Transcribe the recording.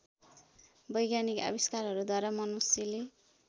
वैज्ञानिक आविष्कारहरूद्वारा मनुष्यले